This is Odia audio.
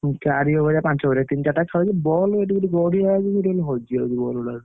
ଚାରି over ପାଞ୍ଚ over ତିନ ଚାରିଟା ball ବା ସେଠି ଗୋଟେ ଗଡିଆ ଅଛି ସେଠି ଖାଲି ହଜି ଯାଉଛି ball ଗୁଡାକ।